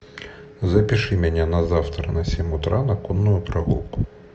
запиши меня на завтра на семь утра на конную прогулку